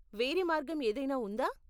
వేరే మార్గం ఏదైనా ఉందా?